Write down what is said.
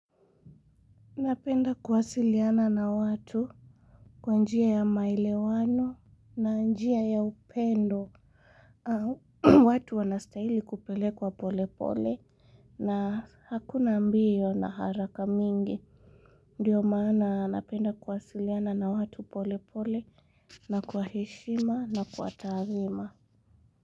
Napenda kuwasiliana na watu kwa njia ya maelewano na njia ya upendo. Watu wanastahili kupelekwa polepole na hakuna mbio na haraka mingi. Ndio maana napenda kuwasiliana na watu polepole na kwa heshima na kwa taadhima.